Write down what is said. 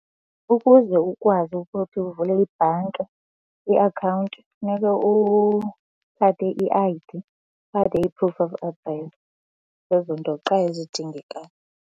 Ukuze ukwazi ukuthi uvule ibhanki iakhawunti funeke uphathe i-I_D, uphathe i-proof of address. Zezo nto qha ezidingekayo.